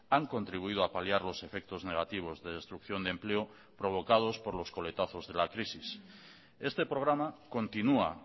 han contribuido a paliar los efectos negativos de destrucción de empleo provocados por los coletazos de la crisis este programa continúa